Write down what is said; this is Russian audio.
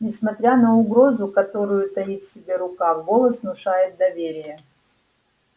несмотря на угрозу которую таит в себе рука голос внушает доверие